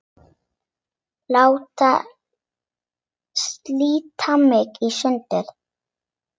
Láta slíta mig í sundur.